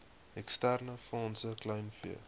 eksterne fondse kleinvee